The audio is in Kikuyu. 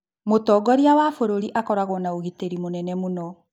Mũtongoria wa bũrũri akoragwo na ũgitĩri mũnene mũno